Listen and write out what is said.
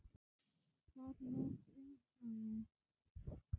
Hvað varð um hana?